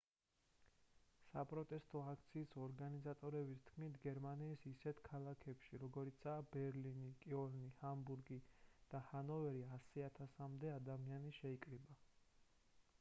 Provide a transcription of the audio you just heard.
საპროტესტო აქციის ორგანიზატორების თქმით გერმანიის ისეთ ქალაქებში როგორიცაა ბერლინი კიოლნი ჰამბურგი და ჰანოვერი 100,000-მდე ადამიანი შეიკრიბა